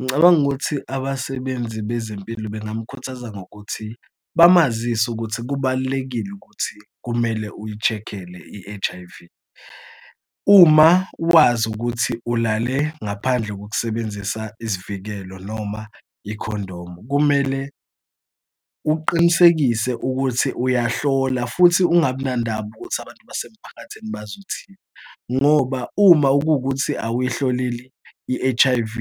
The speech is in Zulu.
Ngicabanga ukuthi abasebenzi bezempilo bengamkhuthaza ngokuthi bamazise ukuthi kubalulekile ukuthi kumele uyi-check-ele i-H_I_V. Uma wazi ukuthi ulale ngaphandle kokusebenzisa isivikelo noma ikhondomu, kumele uqinisekise ukuthi uyahlola futhi ungabinandaba ukuthi abantu basemphakathini bazothini, ngoba uma kuwukuthi awuyhloleli i-H_I_V